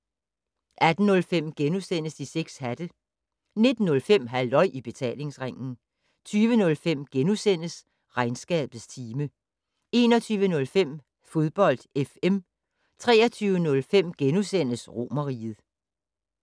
18:05: De 6 hatte * 19:05: Halløj I Betalingsringen 20:05: Regnskabets time * 21:05: Fodbold FM 23:05: Romerriget *